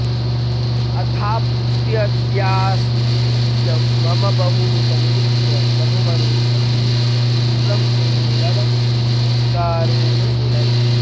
अथाप्यद्यास्तिक्यं मम बहु समीक्ष्य प्रभुमणे प्रसीद क्षिप्रं मे निरवधिककारुण्यनिलय